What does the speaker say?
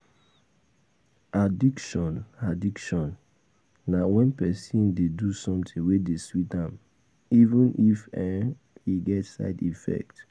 Addiction Addiction na wen person dey do something wey dey sweet am even if um e get side effect